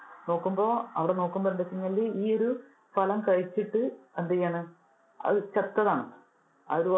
നോക്കുമ്പോ അവിടെ നോക്കുമ്പോൾ എന്താണ് എന്ന് വെച്ച് കഴിഞ്ഞാല്. അത് ഈ ഒരു ഫലം കഴിച്ചിട്ട് എന്തെയാണ് അത് ചത്തതാണ്, ആ ഒരു